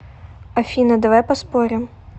афина давай поспорим